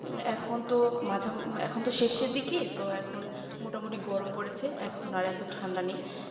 এখন তো মাঝামাঝি এখন তো শেষের দিকে তো এখন মোটামুটি গরম পড়েছে এখন আর এত ঠান্ডা নেই